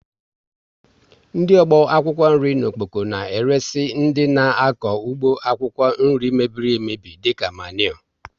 Ndị ọgbọ akwụkwọ nri n'Okpoko na eresi dị n' akọ ụgbọ akwụkwọ nri mebiri emebi dịka maniure